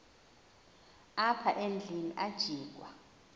apha endlwini ajikwa